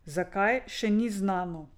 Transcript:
Zakaj, še ni znano.